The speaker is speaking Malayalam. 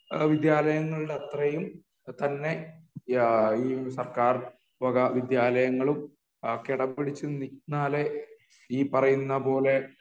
വിദ്യാലയങ്ങൾടെ അത്രെയും തന്നെ എഹ് ഈ സർക്കാർ വക വിദ്യാലയങ്ങളും കിടപിടിച്ച് നിന്നാലേ ഈ പറയുന്നപോലെ